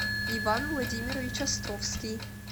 иван владимирович островский